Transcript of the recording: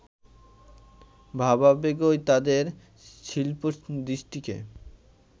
ভাবাবেগই তাঁদের শিল্পদৃষ্টিকে